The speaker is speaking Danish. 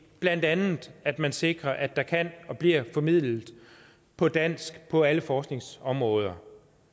blandt andet at man sikrer at der kan blive formidlet på dansk på alle forskningsområder